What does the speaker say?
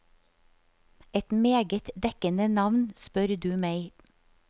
Et meget dekkende navn, spør du meg.